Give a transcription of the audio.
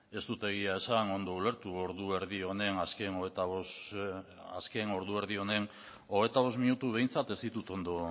ez dut egia esan ondo ulertu ordu erdi honen azken hogeita bost minutuak ondo